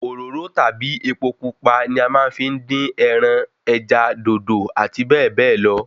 Òróró tàbí epo pupa ni a fi máa ń dín ẹran, ẹja, dòdò àti bẹ́ẹ̀ bẹ́ẹ̀ lọ